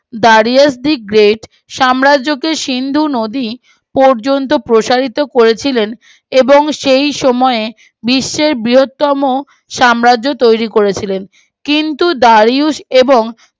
Darius the great সাম্রাজ্যকে সিন্ধু নদী পর্যন্ত প্রসারিত করেছিলেন এবং সেই সময়ে বিশ্বের বৃহত্তম সাম্রাজ্য তৈরী করেছিলেন কিন্তু দারিউস এবং